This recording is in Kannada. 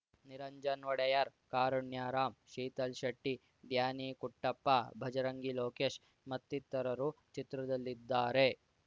ನಿರಂಜನ್‌ ಒಡೆಯರ್‌ ಕಾರುಣ್ಯರಾಮ್‌ ಶೀತಲ್‌ ಶೆಟ್ಟಿ ಡ್ಯಾನಿ ಕುಟ್ಟಪ್ಪ ಭಜರಂಗಿ ಲೋಕೇಶ್‌ ಮತ್ತಿತರರು ಚಿತ್ರದಲ್ಲಿದ್ದಾರೆ